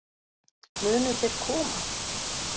Munu þeir koma?